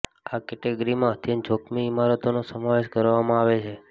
આ કેટેગરીમાં અત્યંત જોખમી ઈમારતોનો સમાવેશ કરવામાં આવે છે